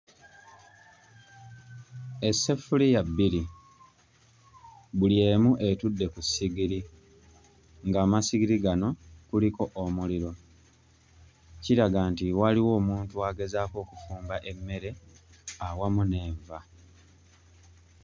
Esseffuliya bbiri buli, emu etudde ku sigiri ng'amasigiri gano kuliko omuliro. Kiraga nti waliwo omuntu agezaako okufumba emmere awamu n'enva.